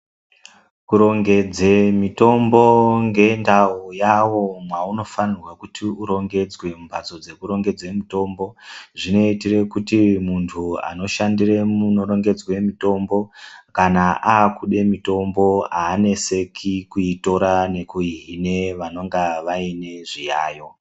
Kurongedze mitombo ngendau yawo mwaunofanirwa kuti urongedzwe mumbatso dzekurongedze mutombo. Zvinoitire kuti muntu anoshandire munorongedzwe mutombo kana akude mutombo aaneseki kuitora nekuihine vanonga vaine zviyaiyo.